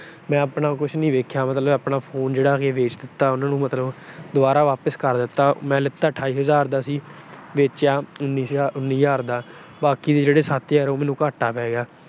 ਮੈਂ ਆਪਣਾ ਕੁਛ ਨੀ ਦੇਖਿਆ, ਮੈਂ ਆਪਣਾ ਫੋਨ ਉਹਨਾਂ ਨੂੰ ਵੇਚ ਦਿੱਤਾ ਮਤਲਬ। ਦੁਬਾਰਾ ਵਾਪਸ ਕਰ ਦਿੱਤਾ। ਮੈਂ ਲੀਤਾ ਅਠਾਈ ਹਜ਼ਾਰ ਦਾ ਸੀ, ਵੇਚਿਆ ਉਨੀ ਹਜ਼ਾਰ ਦਾ। ਬਾਕੀ ਦੇ ਜਿਹੜੇ ਸੱਤ ਹਜ਼ਾਰ ਆ, ਉਹ ਮੈਨੂੰ ਘਾਟਾ ਪੈ ਗਿਆ।